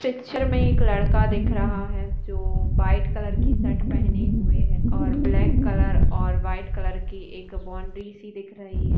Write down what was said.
Picture में एक लड़का दिख रहा है जो व्हाइट कलर की शर्ट पहने हुए है और ब्लैक कलर और व्हाइट कलर की एक बाउंड्री सी दिख रही है।